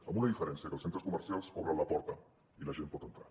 amb una diferència que els centres comercials obren la porta i la gent pot entrar